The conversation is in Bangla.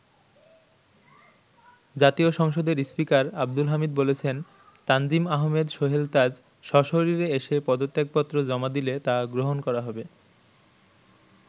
জাতীয় সংসদের স্পীকার আব্দুল হামিদ বলেছেন, তানজিম আহমেদ সোহেল তাজ সশরীরে এসে পদত্যাপত্র জমা দিলে তা গ্রহণ করা হবে।